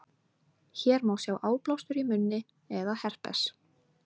hér má sjá áblástur í munni eða herpes